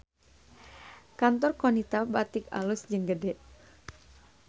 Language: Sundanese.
Kantor Qonita Batik alus jeung gede